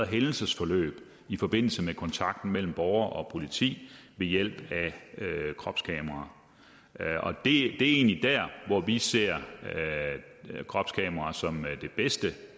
hændelsesforløbet i forbindelse med kontakten mellem borgere og politi ved hjælp af kropskameraer det er egentlig der hvor vi ser kropskameraer som det bedste